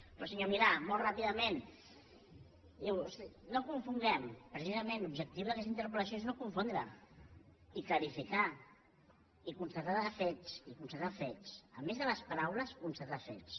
però senyor milà molt ràpidament no confonguem precisament l’objectiu d’aquesta interpel·lació és no confondre i clarificar i constatar fets i constatar fets a més de les paraules constatar fets